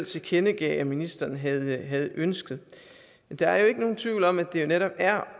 tilkendegav at ministeren havde havde ønsket der er ikke nogen tvivl om at det jo netop er